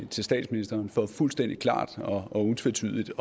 til statsministeren for fuldstændig klart og utvetydigt